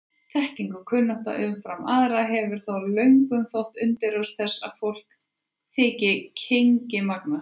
Þekking og kunnátta umfram aðra hefur þó löngum þótt undirrót þess að fólk þyki kynngimagnað.